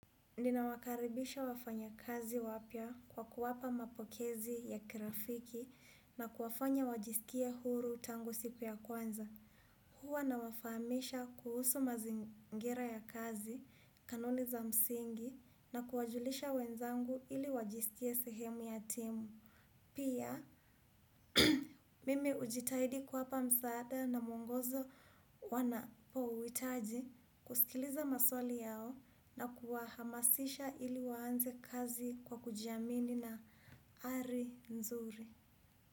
Nina wakaribisha wafanya kazi wapya kwa kuwapa mapokezi ya kirafiki na kuwafanya wajisikie huru tangu siku ya kwanza. Huwa nawafamisha kuhusu mazingira ya kazi, kanuni za msingi na kuwajulisha wenzangu ili wajisikie sehemu ya timu. Pia mimi hujitahidi kuwapa msaada na mwongozo wanapohitaji kusikiliza maswali yao na kuwahamasisha ili waanze kazi kwa kujiamini na ari nzuri.